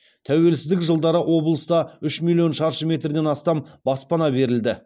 тәуелсіздік жылдары облыста үш миллион шаршы метрден астам баспана берілді